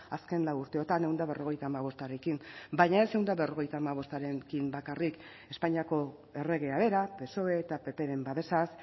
azken lau urteotan ehun eta berrogeita hamabostarekin baina ez ehun eta berrogeita hamabostarekin bakarrik espainiako erregea bera psoe eta ppren babesaz